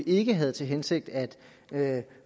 ikke havde til hensigt at